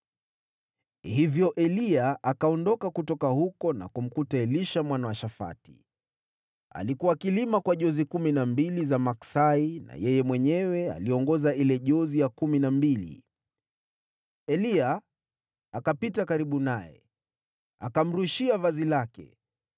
Hivyo Eliya akaondoka kutoka huko na kumkuta Elisha mwana wa Shafati. Alikuwa akilima kwa jozi kumi na mbili za maksai, na yeye mwenyewe aliongoza ile jozi ya kumi na mbili. Eliya akapita karibu naye, akamrushia vazi lake.